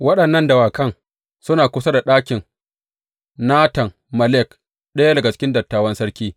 Waɗannan dawakan suna kusa da ɗakin Natan Melek, ɗaya daga cikin dattawan sarki.